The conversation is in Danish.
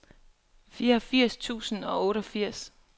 fireogfirs tusind og otteogfirs